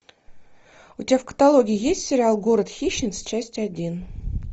у тебя в каталоге есть сериал город хищниц часть один